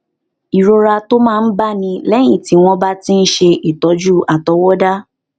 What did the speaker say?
ìrora tó máa ń báni léyìn tí wón bá ti ń ṣe ìtójú àtọwọdá